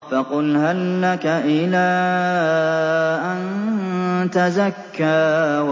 فَقُلْ هَل لَّكَ إِلَىٰ أَن تَزَكَّىٰ